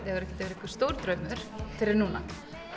hefur ekkert verið einhver stór draumur fyrr en núna